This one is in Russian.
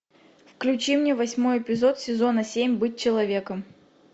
включи мне восьмой эпизод сезона семь быть человеком